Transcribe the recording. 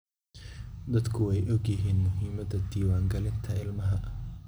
Dadku way ogyihiin muhiimada diwaan galinta ilmaha.